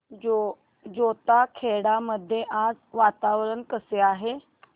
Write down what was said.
जैताखेडा मध्ये आज वातावरण कसे आहे